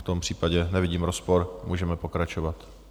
V tom případě nevidím rozpor, můžeme pokračovat.